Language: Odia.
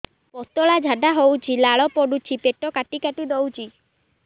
ପତଳା ଝାଡା ହଉଛି ଲାଳ ପଡୁଛି ପେଟ କାଟି କାଟି ଦଉଚି